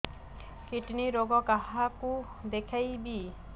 kidney ରୋଗ କାହାକୁ ଦେଖେଇବି